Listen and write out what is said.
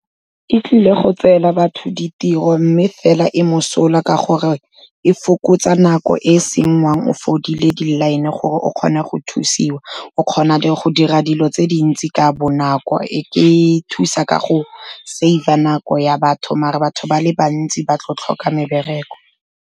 E tlile go tseela batho ditiro mme fela e mosola ka gore e fokotsa nako e e sengwang o fodile di-line-e gore o kgone go thusiwa, o kgona le go dira dilo tse dintsi ka bonako, e thusa ka go save-a nako ya batho, mare batho ba le bantsi ba tlo tlhoka mebereko.